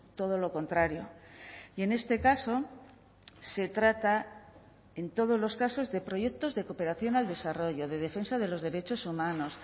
todo lo contrario y en este caso se trata en todos los casos de proyectos de cooperación al desarrollo de defensa de los derechos humanos